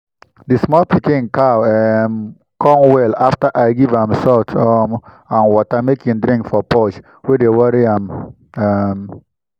the small pikin cow um come well after i give am salt um and water make e drink for purge wey dey worry am um